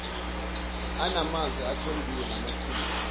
anamanzi athombile namachibi